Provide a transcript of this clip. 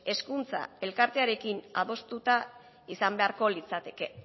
hezkuntza elkartearekin adostuta izan beharko litzateke